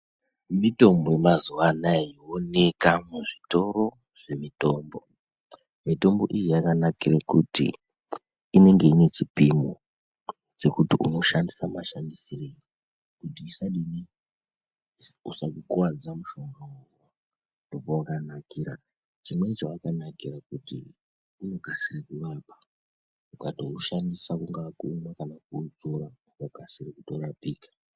Mitombo yemazuwanaya iyi yooneka muzvitoro zvemitombo. Mitombo iyi yakanakire kuti inenge ine chipimo chekuti unoshandisa mashandisirei kuti isadini usakukuwadza mushonga uwowo, ndopawakanakira. Chimweni chawakanakira kuti unokasire kurapa. Ukatoushandisa kungava kuumwa kana kuodzora unokasira kurapika.